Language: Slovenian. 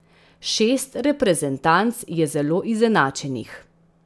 Šest reprezentanc je zelo izenačenih.